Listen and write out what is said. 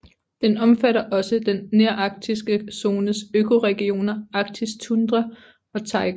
Den omfatter også den nearktiske zones økoregioner Arktisk tundra og Taiga